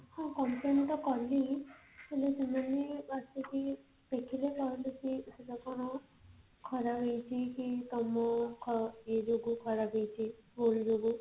ହଁ complain ତ କଲି ହେଲେ ସେମାନେ ଆସିକି ଦେଖିଲେ କହିଲେ କି ସେଟା କଣ ଖରାପ ଅଛି କି ତମ ଇଏ ଜୋଗୁ ଖରାପ ହେଇଛି ଭୁଲ ଜୋଗୁ